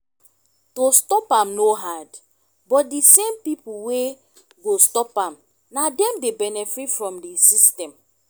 to stop am no hard but di same pipo wey go stop am na dem dey benefit from di system